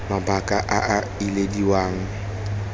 a mabaka a a ilediwang